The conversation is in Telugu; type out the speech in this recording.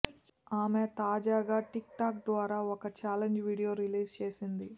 ఆమె తాజాగా టిక్ టాక్ ద్వారా ఓ చాలెంజ్ వీడియో రిలీజ్ చేసింది